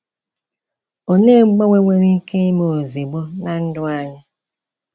Olee mgbanwe nwere ike ime ozigbo na ndụ anyị?